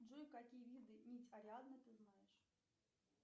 джой какие виды нить ариадны ты знаешь